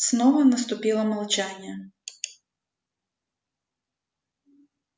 снова наступило молчание